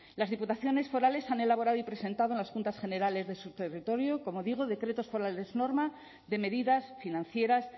las diputaciones forales han elaborado y presentado en las juntas generales de su territorio como digo decretos forales norma de medidas financieras